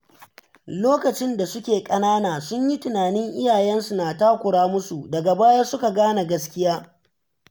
Lokacin da suke ƙanana, sun yi tunanin iyayensu suna takura musu, daga baya suka gane gaskiya.